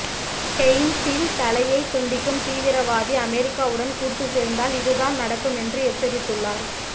ஹெயின்சின் தலையை துண்டிக்கும் தீவிரவாதி அமெரிக்காவுடன் கூட்டு சேர்ந்தால் இது தான் நடக்கும் என்று எச்சரித்துள்ளார்